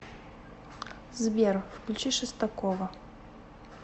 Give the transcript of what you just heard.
сбер включи шестакова